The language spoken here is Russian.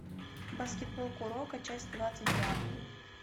баскетбол куроко часть двадцать два